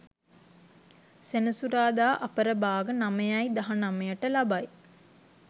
සෙනසුරාදා අපරභාග 9.19 ට ලබයි.